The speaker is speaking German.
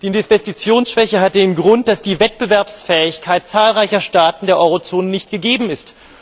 Die Investitionsschwäche hat den Grund, dass die Wettbewerbsfähigkeit zahlreicher Staaten der Eurozone nicht gegeben ist.